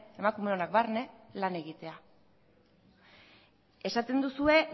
emakumeonak barne lan egitea esaten duzue